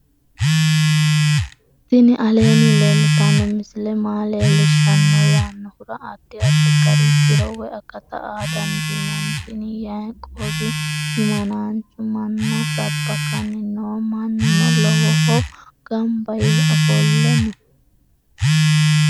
tini aleenni leeltanno misile maa leellishshanno yaannohura addi addi gari tiro woy akata aa dandiinanni tini yaiqoobi himanaanchu manna sabbakanni no mannuno lowohu gamba yee ofolle no